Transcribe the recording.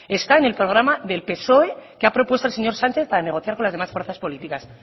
está en el programa del psoe que ha propuesto el señor sánchez para negociar con las demás fuerzas políticas